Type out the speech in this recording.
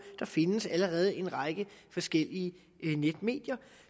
der findes allerede en række forskellige netmedier